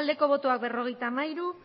abstentzioa berrogeita hamairu